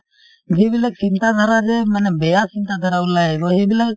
যিবিলাক চিন্তাধাৰা যে মানে বেয়া চিন্তাধাৰা ওলাই আহিব সেইবিলাক